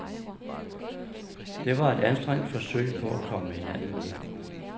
Det var et anstrengt forsøg på at komme hinanden ved.